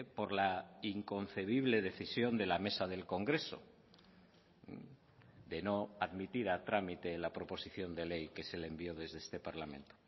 por la inconcebible decisión de la mesa del congreso de no admitir a trámite la proposición de ley que se le envió desde este parlamento